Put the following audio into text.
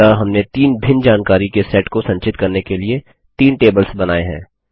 अतः हमने तीन भिन्न जानकारी के सेट को संचित करने के लिए तीन टेबल्स बनायें हैं